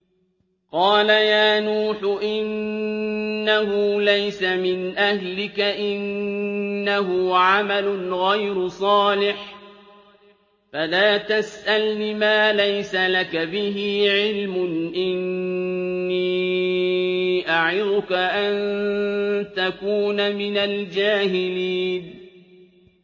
قَالَ يَا نُوحُ إِنَّهُ لَيْسَ مِنْ أَهْلِكَ ۖ إِنَّهُ عَمَلٌ غَيْرُ صَالِحٍ ۖ فَلَا تَسْأَلْنِ مَا لَيْسَ لَكَ بِهِ عِلْمٌ ۖ إِنِّي أَعِظُكَ أَن تَكُونَ مِنَ الْجَاهِلِينَ